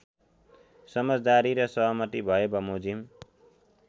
समझदारी र सहमति भएबमोजिम